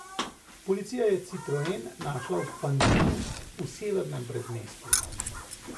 Policija je citroen našla v Pantinu v severnem predmestju.